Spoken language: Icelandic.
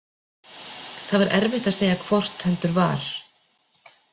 Það var erfitt að segja hvort heldur var.